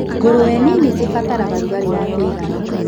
Ngũrũwe nini cirabatara rugarĩ wa kũigana.